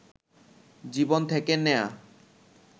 জীবন থেকে নেয়া